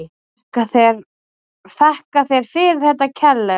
Þakka þér fyrir þetta kærlega.